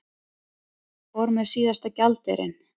Fór með síðasta gjaldeyrinn